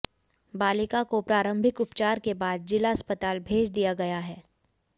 बालिका को प्रारंभिक उपचार के बाद जिला अस्पताल भेज दिया गया है